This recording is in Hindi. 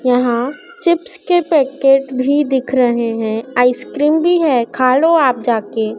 यहां चिप्स के पैकेट भी दिख रहे हैं। आइसक्रीम भी है खा लो आप जाके।